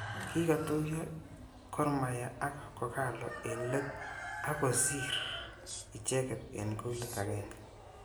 Kikatuyo Gormahia ak kogalo eng let akosir ichekeket eng kolit agenge.